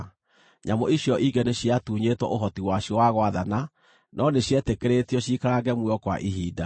(Nyamũ icio ingĩ nĩciatuunyĩtwo ũhoti wacio wa gwathana, no nĩcietĩkĩrĩtio ciikarange muoyo kwa ihinda.)